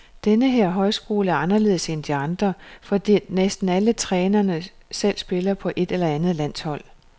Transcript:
Denne her højskole er anderledes end de andre, fordi næsten alle trænerne selv spiller på et eller andet landshold.